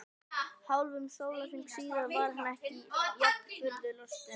Hálfum sólarhring síðar var hann enn jafn furðu lostinn.